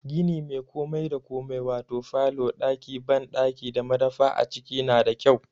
Gini mai komai da komai wato falo, ɗaki banɗaki da madafa a ciki na da kyau.